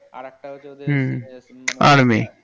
আরেকটা হচ্ছে ওদের হুম army